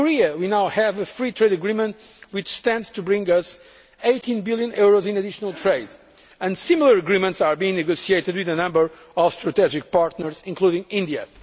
We now have a free trade agreement with Korea which stands to bring us EUR 18 billion in additional trade, and similar agreements are being negotiated with a number of strategic partners, including India.